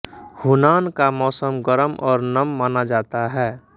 Hunan का मौसम गरम और नम माना जाता है